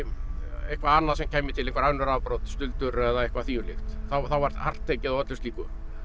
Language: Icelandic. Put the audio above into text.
eitthvað annað sem kæmi til einhver önnur afbrot stuldur eða eitthvað þvíumlíkt þá var hart tekið á öllu slíku